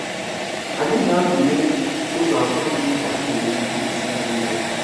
Anyị ga-atụle ụzọ atọ dị mkpa i nwere ike isi mee ya.